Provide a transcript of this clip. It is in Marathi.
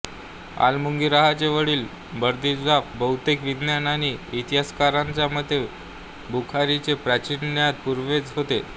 अलमुगीराहचे वडील बर्दिज्बाह बहुतेक विद्वान आणि इतिहासकारांच्या मते बुखारीचे प्राचीन ज्ञात पूर्वज आहेत